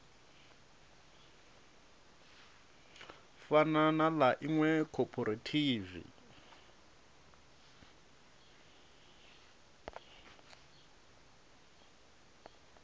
fana na ḽa iṅwe khophorethivi